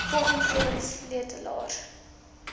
volgens sewe sleutelareas